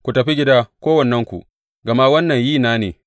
Ku tafi gida kowannenku, gama wannan yi na ne.’